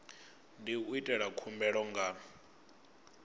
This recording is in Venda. ndi u ita khumbelo nga